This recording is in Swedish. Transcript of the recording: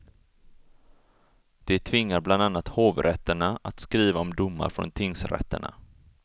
Det tvingar bland annat hovrätterna att skriva om domar från tingsrätterna.